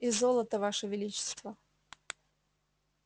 и золото ваше величество